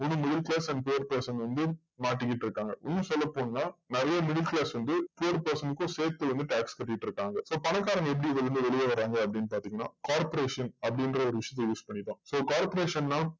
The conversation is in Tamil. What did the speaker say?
இதுல middle class and third person வந்து மாட்டிகிட்டு இருக்காங்க இன்னு சொல்லப்போன நறைய middle class வந்து third person கும் சேத்து வந்து tax கட்டிட்டு இருக்காங்க so பணக்காரங்க எப்டி இதுல இருந்து வெளில வராங்க அப்டின்னு பாத்திங்கன்னா corporation அப்டின்ற ஒரு விஷயத்த use பண்ணி தான் corporation னா